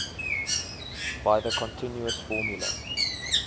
by the continuous formula